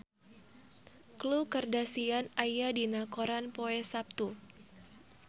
Khloe Kardashian aya dina koran poe Saptu